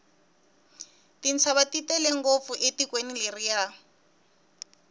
tintshava ti tele ngopfu etikweni leriya